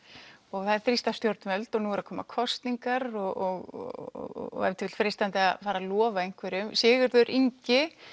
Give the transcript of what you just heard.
og þá þrýsta stjórnvöld og nú eru að koma kosningar og ef til vill freistandi að fara að lofa einhverju Sigurður Ingi